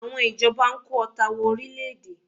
Àwọn ìjọba ń kó ọta wọ orílẹ̀-èdè